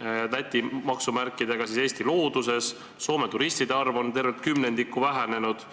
Läti maksumärkidega purgi ja pudeli Eesti looduses, Soome turistide arv on tervelt kümnendiku vähenenud.